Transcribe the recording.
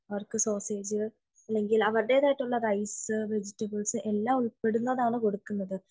അവർക്ക് സോസേജ് അല്ലെങ്കിൽ അവരുടേതായിട്ടുള്ള റൈസ് വെജിറ്റബ്ൾസ് എല്ലാം ഉൾപ്പെടുന്നതാണ് കൊടുക്കുന്നത്